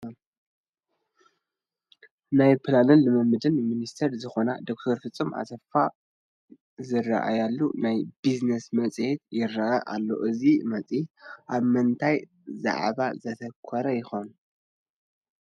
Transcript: ናይ ፕላንን ልምዓትን ሚኒስተር ዝኾና ዶክተር ፍፁም ኣሰፋ ዝርአያሉ ናይ ቢዝነስ መፅሔት ይርአ ኣሎ፡፡ እዚ መፅሄት ኣብ ምንታይ ዛዕባ ዘትኹር ይኸውን?